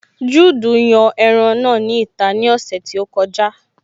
Juudu yan ẹran náà ní ìta ní ọ̀sẹ̀ tí ó kọjá